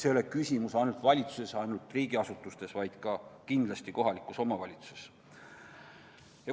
See ei ole küsimus ainult valitsuses, ainult riigiasutustes, vaid kindlasti ka kohalikes omavalitsustes.